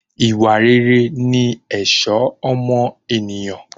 Ìwà rere ni ẹ̀ṣọ́ ọmọ ènìyàn